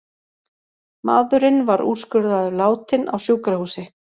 Maðurinn var úrskurðaður látinn á sjúkrahúsi